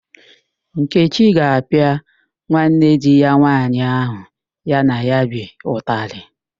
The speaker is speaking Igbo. Nkechi ga-apịa nwanne di ya nwaanyị ahụ ya na ya bi ụtalị